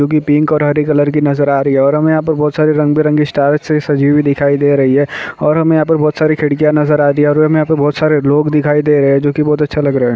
जो की पिंक और हरे कलर की नजर आ रही और हमें यहाँ पर बहुत सारे रंगबेरंगी स्टार्स से सजी हुई दिखाई दे रही है और हमें यहाँ पर बहुत सारी खिड़कियाँ नजर आ रही और हमें यहाँ पर बहुत सारे लोग दिखाई दे रहे जो की बहुत अच्छा --